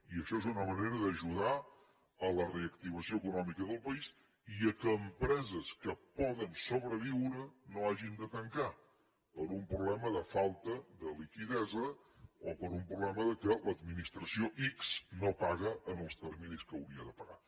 i això és una manera d’ajudar a la reactivació econòmica del país i que empreses que poden sobreviure no hagin de tancar per un problema de falta de liquiditat o per un problema que l’administració ics no paga en els terminis en què hauria de pagar